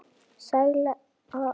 Sæla Afríka!